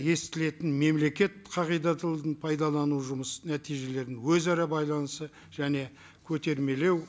естілетін мемлекет пайдалану жұмыс нәтижелерін өзара байланысы және көтермелеу